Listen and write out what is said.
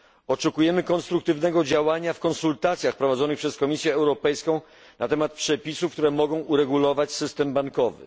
Oczekujemy konstruktywnego działania w konsultacjach prowadzonych przez Komisję Europejską na temat przepisów, które mogą uregulować system bankowy.